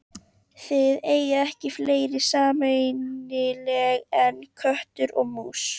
Þið eigið ekki fleira sameiginlegt en köttur og mús.